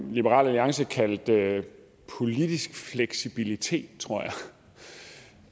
liberal alliance kaldte politisk fleksibilitet tror